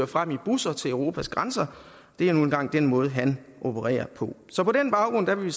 frem i busser til europas grænser det er nu engang den måde han opererer på så på den baggrund vil